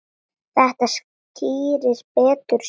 Þetta skýrist betur síðar.